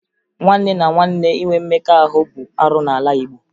Nwanne na nwanne inwe mmekọ ahụ bụ arụ n'ala Igbo